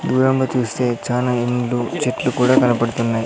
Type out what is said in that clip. దూరంగా చూస్తే చానా ఇండ్లు చెట్లు కూడా కనపడుతున్నాయి.